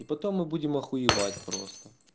и потом мы будем охуевать просто